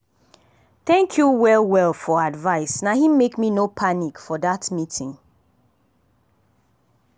thank you well well for advice na him make me no panic for that meeting.